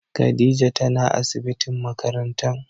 Khadijah tana asibitin makarantan.